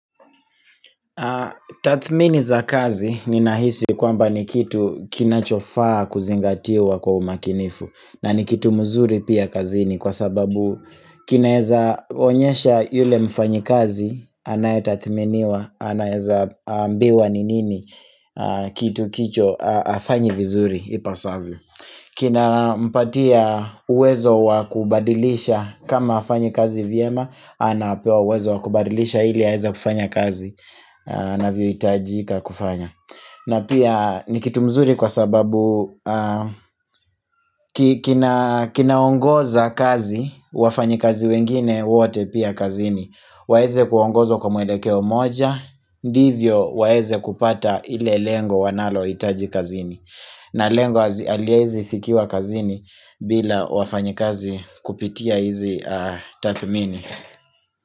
Tathmini za kazi ninahisi kwamba ni kitu kinachofaa kuzingatiwa kwa umakinifu. Na ni kitu mzuri pia kazini kwa sababu kinaeza onyesha yule mfanyikazi anayetathminiwa, anaweza ambiwa ni nini kitu hicho hafanyi vizuri ipasavyo. Kina mpatia uwezo wakubadilisha kama hafanyi kazi vyema. Anapewa uwezo wakubadilisha ili aweza kufanya kazi. Inavyohitajika kufanya na pia ni kitu mzuri kwa sababu kinaongoza kaziwWafanyikazi wengine wote pia kazini. Waweze kuongozwa kwa muelekeo moja. Hivyo waeze kupata ile lengo wanalohitaji kazini. Na lengo haliwezi fikiwa kazini. Bila wafanyi kazi kupitia hizi tathmini. Kwa hivyo.